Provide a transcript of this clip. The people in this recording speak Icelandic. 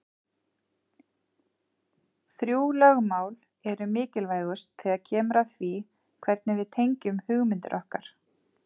Þrjú lögmál eru mikilvægust þegar kemur að því hvernig við tengjum hugmyndir okkar.